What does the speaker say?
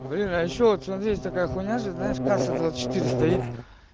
выращивать он есть такая хуйня же знаешь касса двадцать четыре стоит